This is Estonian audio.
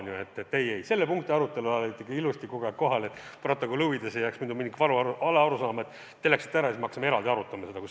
Nii et ei-ei, selle punkti arutelu ajal olite ikka ilusti kogu aeg kohal – ütlen seda stenogrammi huvides, et ei jääks mingit valearusaama, et te läksite ära ja siis me hakkasime eraldi arutama seda.